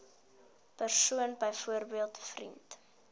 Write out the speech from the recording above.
persoon byvoorbeeld vriend